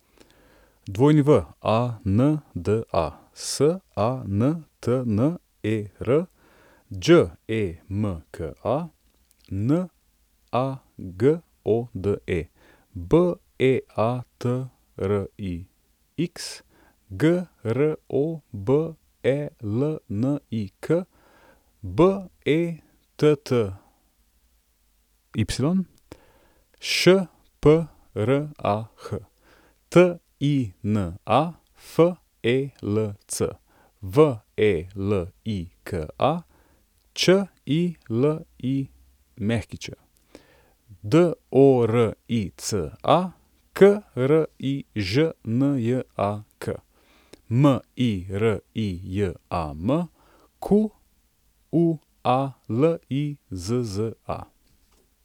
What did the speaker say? Wanda Santner, Đemka Nagode, Beatrix Grobelnik, Betty Šprah, Tina Felc, Velika Čilić, Dorica Križnjak, Mirijam Qualizza.